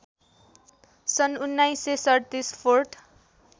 सन् १९३७ फोर्ट